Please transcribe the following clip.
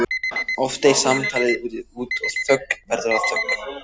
Oft deyr samtalið út og verður að þögn.